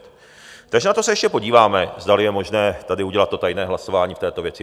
Takže na to se ještě podíváme, zdali je možné tady udělat to tajné hlasování v této věci.